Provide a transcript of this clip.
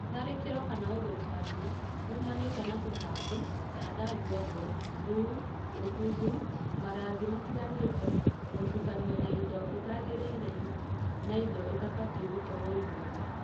Tharĩkĩro/ũthũkangia uũmanĩte na tũtambi, thanda nguangu, mbuu, ũbuthu, marangi matagĩrĩire, gũtũkanio na indo itagĩrĩire na indo itabatiĩ gũkorwo irio-inĩ.